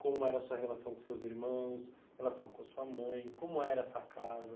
Como era a sua relação com seus irmãos, relação com a sua mãe, como era essa casa.